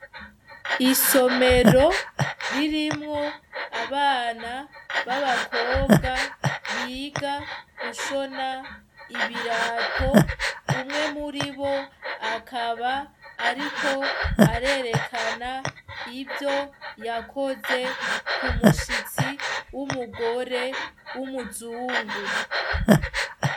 Isomero ririmwo abana b'abakobwa biga gushona ibirato. Umwe muri bo akaba ariko arerekana ivyo yakoze ku mushitsi w'umugore w'umuzungu.